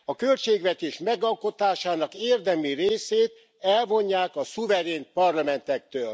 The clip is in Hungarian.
A költségvetés megalkotásának érdemi részét elvonják a szuverén parlamentektől.